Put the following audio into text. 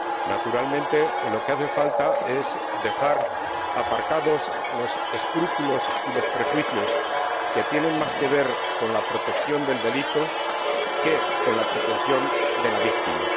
Naturalmente, lo que hace falta es dejar aparcados los escrúpulos y los prejuicios, que tienen más que ver con la protección del delito que con la protección de la víctima.